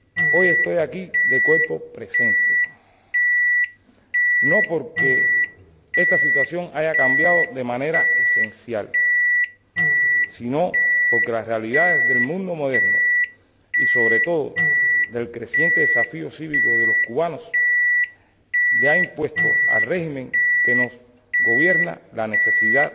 Hoy estoy aquí de cuerpo presente, no porque esta situación haya cambiado de manera esencial, sino porque las realidades del mundo moderno y, sobre todo, el creciente desafío cívico de los cubanos, le ha impuesto al régimen que nos gobierna la necesidad